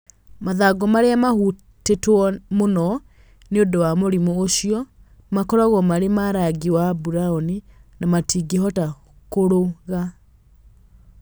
Mathangũ marĩa mahutĩtwo mũno nĩ ũndũ wa mũrimũ ũcio makoragwo marĩ ma rangi wa burauni na matingĩhota kũrũga.